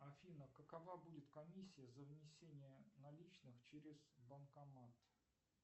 афина какова будет комиссия за внесение наличных через банкомат